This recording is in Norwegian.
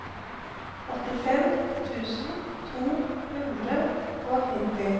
åttifem tusen to hundre og nitti